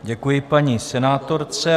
Děkuji paní senátorce.